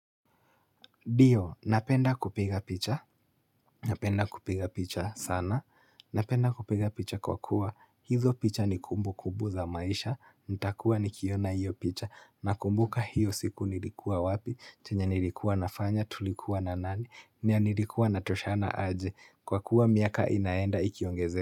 Ndio, napenda kupiga picha, napenda kupiga picha sana, napenda kupiga picha kwa kuwa, hizo picha ni kumbukubu za maisha, ntakuwa nikiona hiyo picha, nakumbuka hiyo siku nilikuwa wapi, chenye nilikuwa nafanya, tulikuwa na nani, na nilikuwa natoshana aje, kwa kuwa miaka inaenda ikiongeze.